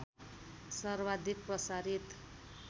सर्वाधिक प्रसारित